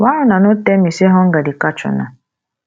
why una no tell me say hunger dey catch una